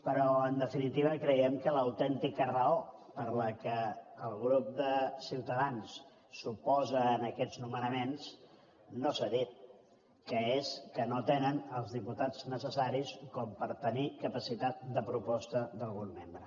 però en definitiva creiem que l’autèntica raó per la qual el grup de ciutadans s’oposa a aquests nomenaments no s’ha dit que és que no tenen els diputats necessaris per tenir capacitat de proposta d’algun membre